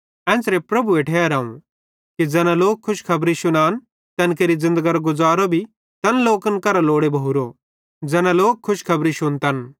एन्च़रे प्रभुए ठहराव कि ज़ैना लोक खुशखबरी शुनान तैन केरि ज़िन्दगरो गुज़ारो भी तैन लोकन करां लोड़े भोरो ज़ैना लोक खुशखबरी शुन्तन